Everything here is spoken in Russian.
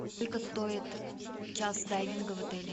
сколько стоит час дайвинга в отеле